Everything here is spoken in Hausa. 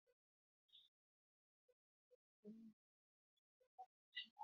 Haruffan raye-raye sun yi rawa akan allon, suna jigilar masu kallo zuwa daula mai ban sha'awa.